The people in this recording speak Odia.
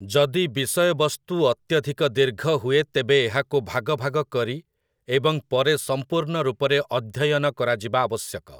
ଯଦି ବିଷୟବସ୍ତୁ ଅତ୍ୟଧିକ ଦୀର୍ଘହୁଏ ତେବେ ଏହାକୁ ଭାଗ ଭାଗ କରି ଏବଂ ପରେ ସମ୍ପୂର୍ଣ୍ଣ ରୂପରେ ଅଧ୍ୟୟନ କରାଯିବା ଆବଶ୍ୟକ ।